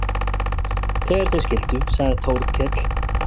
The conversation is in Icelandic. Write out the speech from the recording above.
Þegar þeir skildu sagði Þórkell